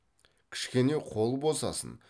кішкене қол босасын